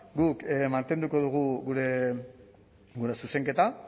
guk mantenduko dugu gure zuzenketa